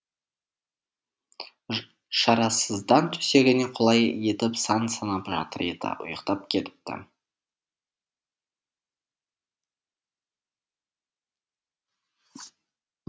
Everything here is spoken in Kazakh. шарасыздан төсегіне құлай етіп сан санап жатыр еді ұйықтап кетіпті